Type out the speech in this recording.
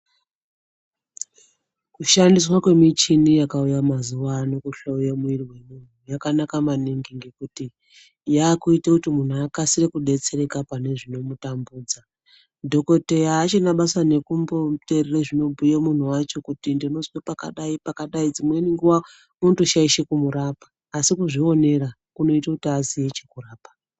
Kushandiswa kwemichini yakauya mazuva ano kuhloye mwiri wemuntu yakanaka maningi ngekuti yakuita kuti muntu akasire kudetsereka pane zvinomutambudza, dhokodheya achina basa nekumbomuteerera zvinobhuya muntu wacho kuti ndinozwa pakadai pakadai dzimweni nguwa unotoshaisha kumurapa asi kuzvionera kunoite kuti azive chekurapa.